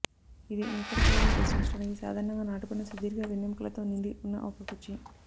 ఇది నేకెడ్ ఖైదీని ప్రశ్నించడానికి సాధారణంగా నాటబడిన సుదీర్ఘ వెన్నెముకలతో నిండి ఉన్న ఒక కుర్చీ